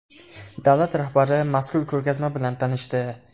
Davlat rahbari mazkur ko‘rgazma bilan tanishdi.